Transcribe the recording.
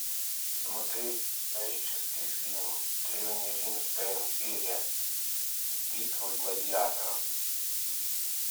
смотреть исторический фильм древнеримская империя битва гладиаторов